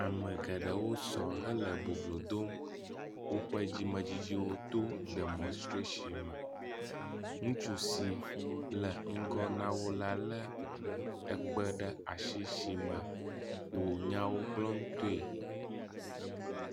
Ame geɖewo sɔ hele boblodom woƒe dzimedzidziwo to demɔnstration me. Ŋutsu si lé ŋgɔ na wo la le ekpe ɖe asi si me wo nyawo gblɔm toe.